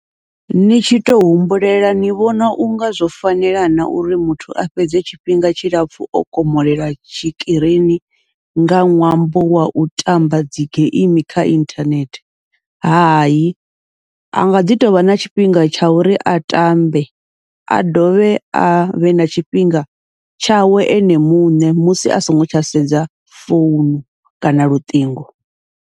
Ni tshi tou humbulela ni vhona unga zwo fanela na uri muthu a fhedze tshifhinga tshilapfhu o komolela tshikirini nga ṅwambo wau tamba dzigeimi kha inthanethe, hayi anga ḓi tovha na tshifhinga tsha uri a tambe, a dovhe avhe na tshifhinga tshawe ene muṋe musi a songo tsha sedza founu kana luṱingo.